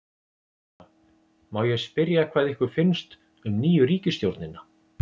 Sunna: Má ég spyrja hvað ykkur finnst um nýju ríkisstjórnina?